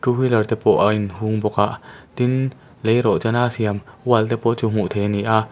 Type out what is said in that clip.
wheeler te pawh a in hung bawk a tin leirawhchan a siam wall te pawh chu hmuh theih a ni a.